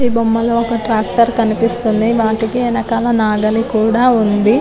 ఈ బొమ్మలో ఒక ట్రాక్టర్ కనిపిస్తుంది వాటికి వెనకాల నాగలి కూడా ఉంది